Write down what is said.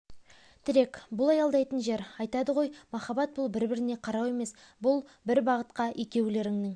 тірек бұл аялдайтын жер айтады ғой махаббат бұл бір-біріне қарау емес бұл бір бағытқа екеулерінің